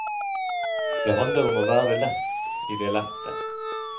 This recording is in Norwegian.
Det handler om å være lett i det lette.